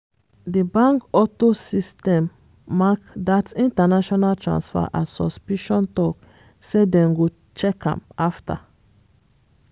di bank auto system mark dat international transfer as suspicious talk say dem go check am afta.